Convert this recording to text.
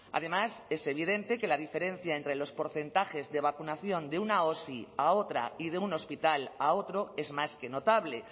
además es evidente que la diferencia entre los porcentajes de vacunación de una osi a otra y de un hospital a otro es más que notable